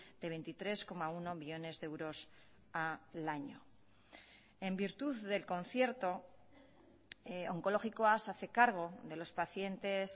de veintitrés coma uno millónes de euros al año en virtud del concierto onkologikoa se hace cargo de los pacientes